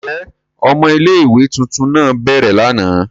Njẹ ọmọ ìlé-ìwé tuntun náa bẹrẹ làná?